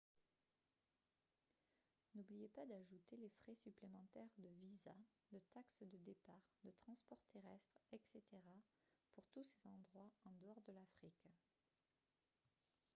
n'oubliez pas d'ajouter les frais supplémentaires de visas de taxes de départ de transport terrestre etc pour tous ces endroits en dehors de l'afrique